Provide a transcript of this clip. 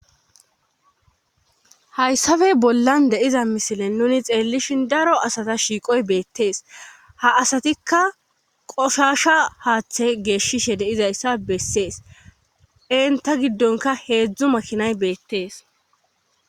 hayssabey bollan deiza misilen nuni xeellishin daro asata shiiqoy beettees ha asatikka qoshasha haaththe geeshshishe deizayssa bessees enta giddonka heedzdzu makinay beettees